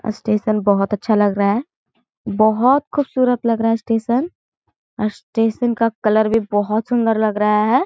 Station बहोत अच्छा लग रहा है बहोत खूबसूरत लग रहा है स्टेशन स्टेशन का कलर भी बहोत सुन्दर लग रहा है।